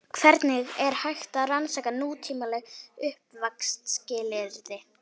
Hvernig er hægt að rannsaka nútímaleg uppvaxtarskilyrði?